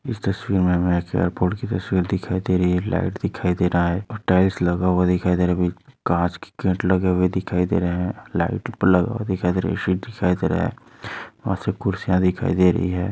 इस तस्वीर मे हमे एक एयरपोट की तस्वीर दिखाई दे रही है लाइट दिखाई दे रहा है और टाइल्स लगा हुआ दिखाई दे रहा काँच के गेट लगे हुए दिखाई दे रहे है लाइट भी लगा हुआ दिखाई दे रहा वहा से कुर्सिया दिखाई दे रही है।